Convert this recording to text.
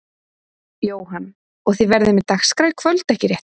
Jóhann: Og þið verðið með dagskrá í kvöld ekki rétt?